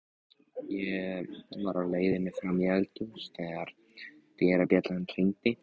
Ég var á leiðinni fram í eldhús þegar dyrabjallan hringdi.